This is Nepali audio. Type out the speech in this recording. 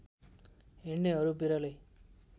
हिँडनेहरू बिरलै